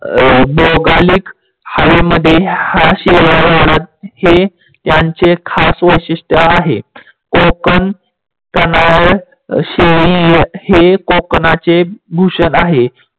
भौगलीक हवेमध्ये ह्या शेडया वाढत. हे यांचे खास वैशिष्ट्य आहे. कोकण शेडी हे कोकणचे भूषण आहे.